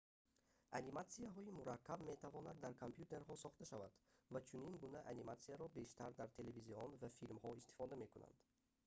аниматсияҳои мураккаб метавонад дар компютерҳо сохта шавад ва чунин гуна аниматсияро бештар дар телевизион ва филмҳо истифода мекунанд